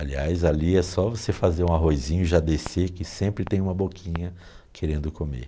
Aliás, ali é só você fazer um arrozinho e já descer, que sempre tem uma boquinha querendo comer.